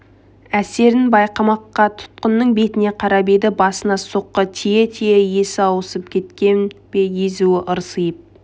әсерін байқамаққа тұтқынның бетіне қарап еді басына соққы тие-тие есі ауысып кеткен бе езуі ырсиып